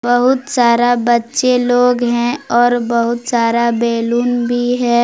बहुत सारा बच्चे लोग हैं और बहुत सारा बैलून भी है।